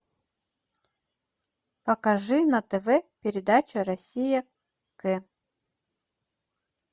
покажи на тв передачу россия к